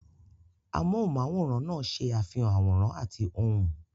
Amóhùnm'áwòrán náà ṣe àfihàn àwòrán àti ohùn